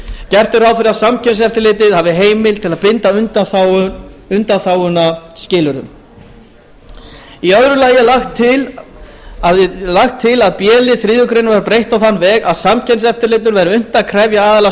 gert er ráð fyrir að samkeppniseftirlitið hafi heimild til að binda undanþáguna skilyrðum í öðru lagi er lagt til að b lið þriðju grein verði breytt á þann veg að samkeppniseftirlitinu verði unnt að krefja aðila